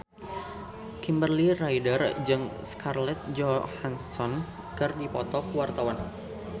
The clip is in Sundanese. Kimberly Ryder jeung Scarlett Johansson keur dipoto ku wartawan